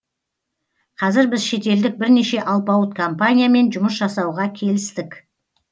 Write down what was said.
қазір біз шетелдік бірнеше алпауыт компаниямен жұмыс жасауға келістік